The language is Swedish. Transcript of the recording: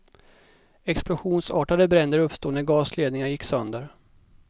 Explosionsartade bränder uppstod när gasledningar gick sönder.